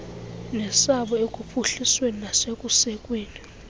nesabo ekuphuhlisweni nasekusekweni